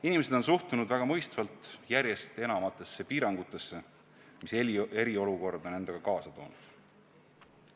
Inimesed on suhtunud väga mõistvalt järjest enamatesse piirangutesse, mis eriolukord on endaga kaasa toonud.